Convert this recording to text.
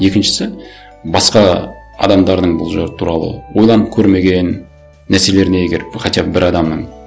екіншісі басқа адамдардың бұл туралы ойланып көрмеген нәрселеріне егер хотя бы бір адамның